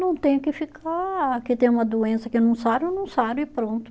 Não tenho que ficar, que tem uma doença que eu não saro, eu não saro e pronto.